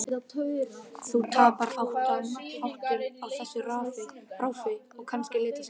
Þú tapar áttum á þessu ráfi, og kannski litaskynjun.